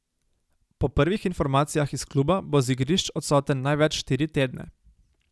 Po prvih informacijah iz kluba bo z igrišč odsoten največ štiri tedne.